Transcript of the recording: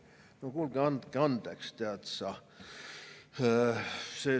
No kuulge, andke andeks!